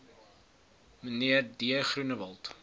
mnr d groenewald